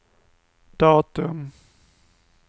datum